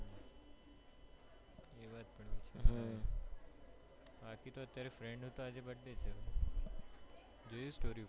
હમ બાકી અત્યારે friend નો આજે birthday છે જોયું story ઉપર